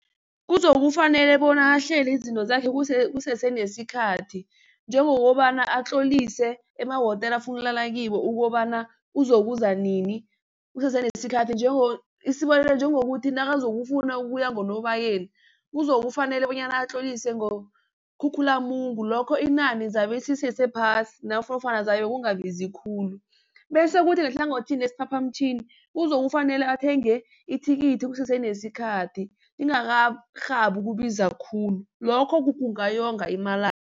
Kuzokufanele bona ahlele izinto zakhe kusese nesikhathi njengokobana atlolise emawotela afuna ukulala kiwo, ukobana uzokuza nini, kusese nesikhathi isibonelo njengokuthi nakazokufuna ukuya ngoNobayeni kuzokufanele bonyana atlolise ngoKhukhulamungu lokho inani lizabe lisesephasi nofana kuzabe kungabiza khulu. Bese kuthi ngehlangothini lesiphaphamtjhini kuzokufanele athenge ithikithi kusese nesikhathi lingakarhabi ukubiza khulu lokho kungayonga